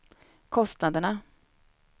kostnaderna